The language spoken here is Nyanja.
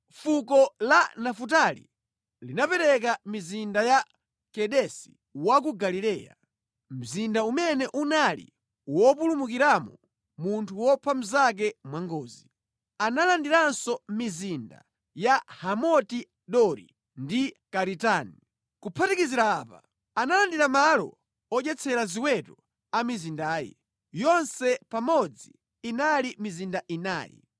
Fuko la Nafutali linapereka mizinda ya Kedesi wa ku Galileya, mzinda umene unali wopulumukiramo munthu wopha mnzake mwangozi. Analandiranso mizinda ya Hamoti-Dori ndi Karitani. Kuphatikizira apa, analandira malo odyetsera ziweto a mizindayi. Yonse pamodzi inali mizinda inayi.